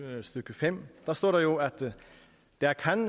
fem står der jo at der der